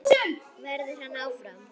Verður hann áfram?